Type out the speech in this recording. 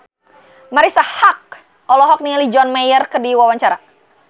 Marisa Haque olohok ningali John Mayer keur diwawancara